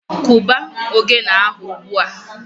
Kụba ogene ahụ ugbua!